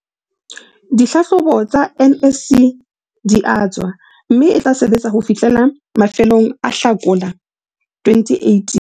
dihlahlobo tsa NSC di tswa mme e tla sebetsa ho fihlela mafelong a Hlakola 2018.